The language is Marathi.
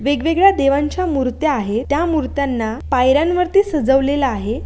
वेगवेगळ्या देवांच्या मुर्त्या आहे त्या मुर्त्याना पायऱ्यांवरती सजवलेल आहे.